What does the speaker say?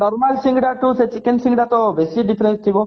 normal ସିଙ୍ଗେଡାରୁ ସେ chicken ସିଙ୍ଗଡା ତ ବେଶି difference ଥିବ